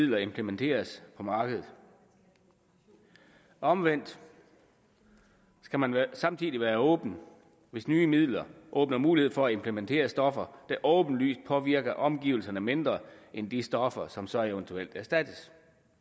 midler implementeres på markedet omvendt skal man samtidig være åben hvis nye midler åbner mulighed for at implementere stoffer der åbenlyst påvirker omgivelserne mindre end de stoffer som så eventuelt erstattes